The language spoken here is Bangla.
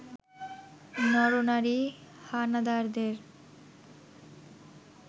নর-নারী হানাদারদের